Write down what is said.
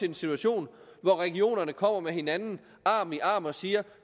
en situation hvor regionerne kommer med hinanden og siger